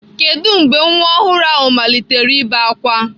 Kedu mgbe nwa ọhụrụ ahụ malitere ibe ákwá?